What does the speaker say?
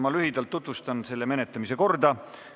Ma lühidalt tutvustan selle menetlemise korda.